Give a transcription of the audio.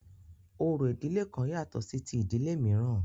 Orò ìdílé kan yàtọ̀ sí ti ìdílé mìíràn.